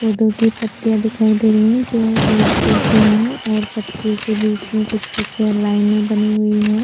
पौधो की पत्तियां दिखाई दे रही है जो एक जैसी है और पत्तियों के बीच में कुछ कुछ लाइनें बनी हुईं है।